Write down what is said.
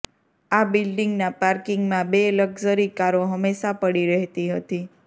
આ બિલ્ડિંગના પાર્કિગમાં બે લક્ઝરી કારો હંમેશાં પડી રહેતી હતી